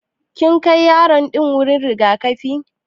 Kin Kai yaro din wuri rigakafi?